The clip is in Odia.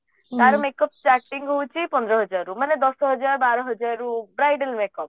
ତାର make up starting ହଉଛି ପନ୍ଦର ହଜାରରୁ ମାନେ ଦଶ ହଜାର ବାର ହଜାରରୁ bridal make up